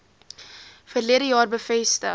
verlede jaar bevestig